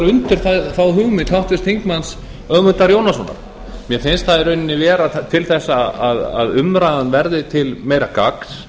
undir þá hugmynd háttvirts þingmanns ögmundar jónassonar mér finnst það í rauninni vera til þess að umræðan verði til meira gagns